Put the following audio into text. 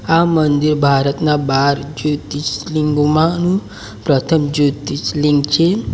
આ મંદિર ભારતના બાર જ્યોતિષલીંગોમાંનું પ્રથમ જ્યોતિષલીંગ છે.